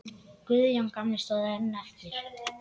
Guðjón gamli stóð einn eftir.